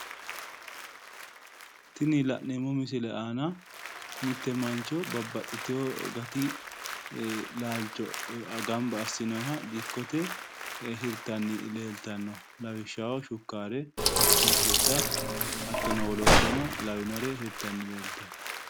Tini la'neemmo misile aana mitte mancho babbaxxitewo gati laalcho gamba assinoyiha dikkote hirtanni leeltanno lawishaho shukkaare shunkurta hattono wolooddano lawinore hirtanni leeltanno